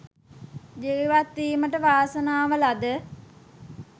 ජීවත්වීමට වාසනාව ලද